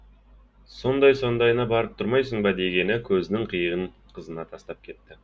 сондай сондайына барып тұрмайсың ба дегені көзінің қиығын қызына тастап